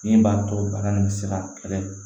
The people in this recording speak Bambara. Min b'a to bana nin bɛ se ka kɛlɛ